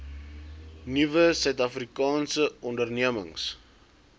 nuwe suidafrikaanse ondernemings